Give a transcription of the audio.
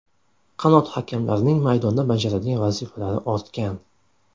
Qanot hakamlarining maydonda bajaradigan vazifalari ortgan.